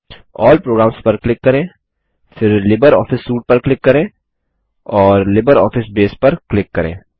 अल्ल programs पर click करें फिर लिब्रियोफिस सूटे पर क्लिक करें और लिब्रियोफिस बसे पर क्लिक करें